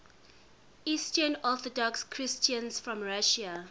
eastern orthodox christians from russia